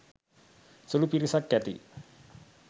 සුළු පිරිසක් ඇති.